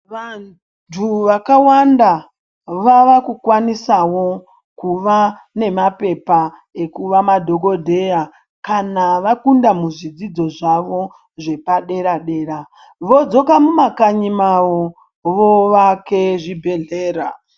Vantu vakawanda vavakukwanisawo kuva nemapepa ekuva madhogodheya kana vakunda muzvidzo zvavo zvepadera-dera. Vodzoka numakanyi mavo voake zvibhedhlera